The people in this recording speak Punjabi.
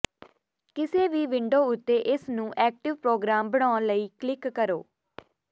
ਕਿਸੇ ਵੀ ਵਿੰਡੋ ਉੱਤੇ ਇਸ ਨੂੰ ਐਕਟਿਵ ਪ੍ਰੋਗਰਾਮ ਬਣਾਉਣ ਲਈ ਕਲਿੱਕ ਕਰੋ